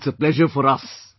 It is a pleasure for us